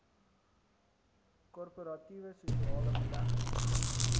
korporatiewe sosiale belegging